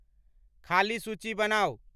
खालीं सूची बनाऊ